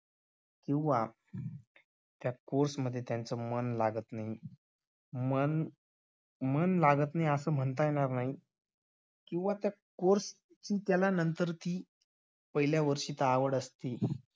किंवा त्या course मध्ये त्यांचं मन लागत नाही मन मन लागत नाही असे म्हणता येणार नाही किंवा त्या course ची नंतर ती पहिल्या वर्षीच आवड असते.